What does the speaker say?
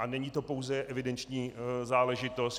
A není to pouze evidenční záležitost.